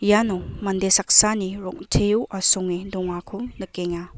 iano mande saksani rong·teo asonge dongako nikenga.